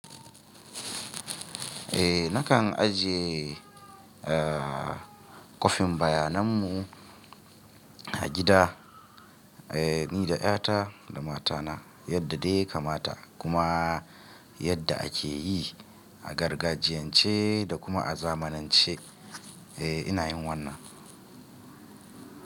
Eh nakan ajiye eh kwafin bayanan mu a gida, eh ni da ƴata da matana yadda dai ya kamata kuma yadda a ke yi a gargajiyan ce da kuma a zamanance. Eh ina yin wannan.